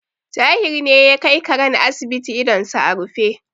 Tahir ne ya kai karen asibiti idonsa a rufe.